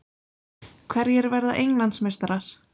Hverjir verða Englandsmeistarar?